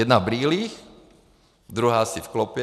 Jedna v brýlích, druhá asi v klopě.